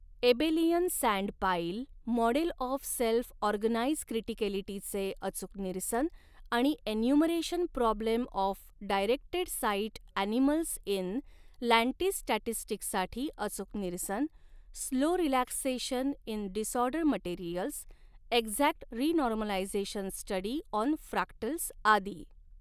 Abelian sand pile, model of self organise क्रिटीकेलिटीचे अचूक निरसन आणि enumeration problem of directed site animals in lattice स्टॅटिस्टिक्ससाठी अचूक निरसन, slow relaxation in disorder materials, exact renormalisation study on fractals आदी.